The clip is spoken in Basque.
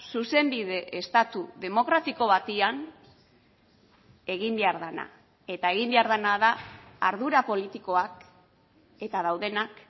zuzenbide estatu demokratiko batean egin behar dena eta egin behar dena da ardura politikoak eta daudenak